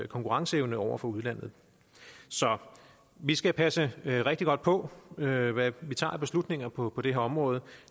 konkurrenceevne over for udlandet så vi skal passe rigtig godt på med hvad vi tager af beslutninger på på det her område